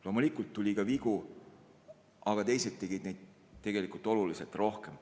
Loomulikult oli ka vigu, aga teised tegid neid oluliselt rohkem.